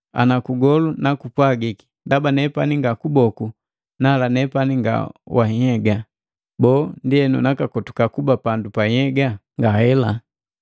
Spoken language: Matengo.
Ana kugolu nakupwagiki, “Ndaba nepani nga kuboku nala nepani nga wa nhyega,” Boo, ndienu nakakotuka kuba pandu ja nhyega? Ngahela.